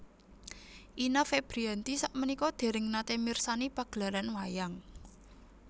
Ine Febriyanti sakmenika dereng nate mirsani pagelaran wayang